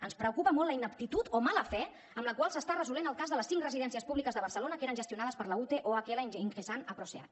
ens preocupa molt la ineptitud o mala fe amb la qual s’està resolent el cas de les cinc residències públiques de barcelona que eren gestionades per la ute ohl ingesan asproseat